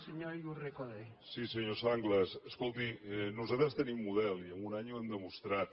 sí senyor sanglas escolti nosaltres tenim model i amb un any ho hem demostrat